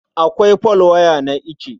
Akwai folwaya na ice.